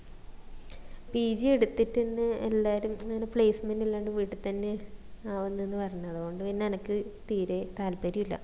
pg എടിത്തിട്ടെന്നെ എല്ലാരും അങ്ങനെ placement ഇല്ലാണ്ട് വീട്ടി തന്നെ ആവിന്നിന്ന് പറഞ്‍ അതോണ്ട് പിന്ന എനിക്ക് തീരെ താൽപ്പര്യം ഇല്ല